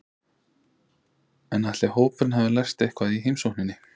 En ætli hópurinn hafi lært eitthvað í heimsókninni?